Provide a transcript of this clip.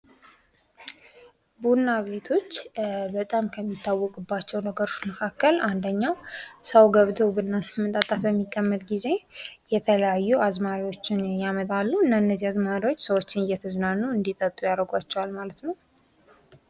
ቡና ቤቶች በጣም ከሚታወቁባቸው ነገሮች መካከል አንደኛው ሰው ገብቶ ቡና በሚጠጣበት ጊዜ የተለያዩ አዝማሪዎችን ያመጣሉ እና እነዚህ አዝማሪዎች ሰዎችን እየተዝናኑ እንዲጠጡ ያድርጓቸዋል ማለት ነው።